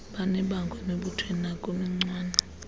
banebango emibuthweni nakubuncwane